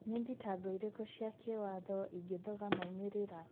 Nĩ thitango irĩkũ cia kĩwatho ingĩthoga moimĩrĩra?